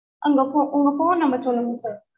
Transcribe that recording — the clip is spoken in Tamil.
உங்க phone உங்க phone number சொல்லுங்க sir